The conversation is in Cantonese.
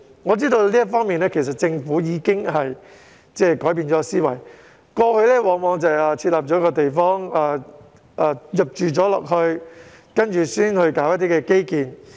我知道在這方面政府已經改變思維，過去往往是先發展地方並且待市民遷入居住後才興建基建。